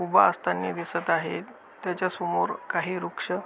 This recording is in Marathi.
उभा असतानी दिसत आहे त्याच्यासमोर काही वृक्ष--